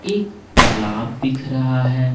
एक तालाब दिख रहा है।